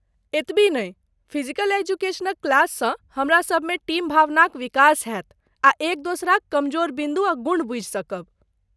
एतबि नै फिजिकल एजुकेशनक क्लास सँ हमरा सभमे टीम भावनाक विकास हैत आ एक दोसराक कमजोर बिन्दु आ गुण बुझि सकब।